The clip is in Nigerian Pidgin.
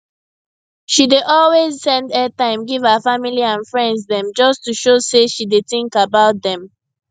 she dey always send airtime give her family and friends dem just to show say she dey think about dem